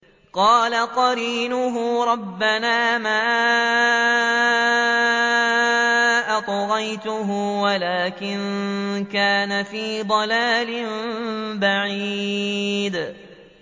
۞ قَالَ قَرِينُهُ رَبَّنَا مَا أَطْغَيْتُهُ وَلَٰكِن كَانَ فِي ضَلَالٍ بَعِيدٍ